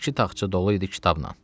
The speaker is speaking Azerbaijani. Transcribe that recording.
İki taxça dolu idi kitabnan.